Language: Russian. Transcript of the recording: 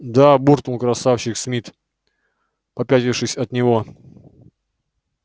да буркнул красавчик смит попятившись от него